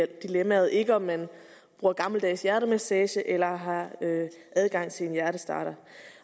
dilemmaet ikke om man bruger gammeldags hjertemassage eller har adgang til en hjertestarter